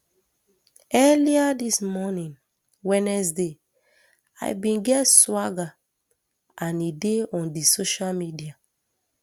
earlier dis morning wednesday i bin get swagger and e dey on di social media